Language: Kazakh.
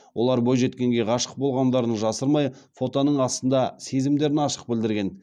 олар бойжеткенге ғашық болғандарын жасырмай фотоның астында сезімдерін ашық білдірген